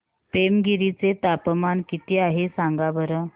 पेमगिरी चे तापमान किती आहे सांगा बरं